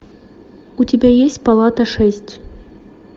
у тебя есть палата шесть